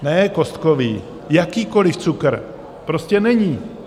Ne kostkový, jakýkoliv cukr, prostě není.